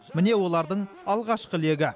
міне олардың алғашқы легі